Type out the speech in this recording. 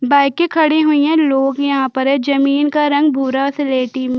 बाईके खड़ी हुई है लोग यहाँ पर है जमीन का रंग भुरा सिलेटी --